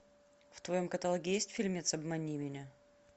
в твоем каталоге есть фильмец обмани меня